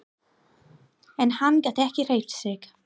En hann gat ekki hreyft sig.